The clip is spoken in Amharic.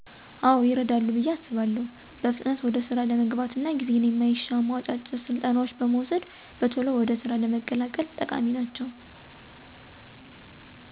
አዎ ይረዳሉ ብየ አስባለሁ በፍጥነት ወደ ስራ ለመግባት እና ጌዜን የማይሻሙ አጫጭር ስልጠናዎች በመዉሰድ በቶሎ ወደ ስራ ለመቀላቀል ጠቃሚ ናቸዉ።